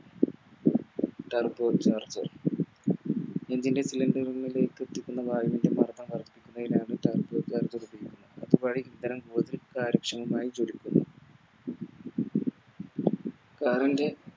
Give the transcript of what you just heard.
Turbo charger Turbo charge ഉപയോഗിക്കുന്നത് Car ൻറെ